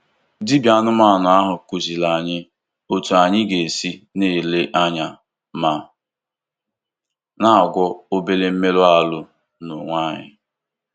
Dibịa anụmanụ ahụ kụziiri anyị otú anyị ga-esi na-ele anya ma na-agwọ obere mmerụ ahụ n'onwe anyị.